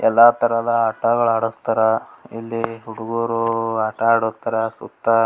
ಎಲ್ಲಾ ತರಹದ ಆಟಗಳ್ ಆಡಸ್ತರ್ ಇಲ್ಲಿ ಹುಡುಗ್ರು ಆಟ ಆಡೊಗತ್ತರ್ ಸುತ್ತ .